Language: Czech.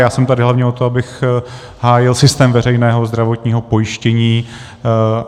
Já jsem tady hlavně od toho, abych hájil systém veřejného zdravotního pojištění.